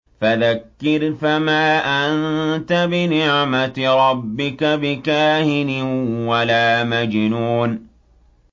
فَذَكِّرْ فَمَا أَنتَ بِنِعْمَتِ رَبِّكَ بِكَاهِنٍ وَلَا مَجْنُونٍ